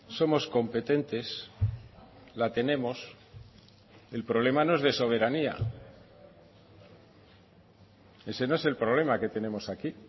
somos competentes la tenemos el problema no es de soberanía ese no es el problema que tenemos aquí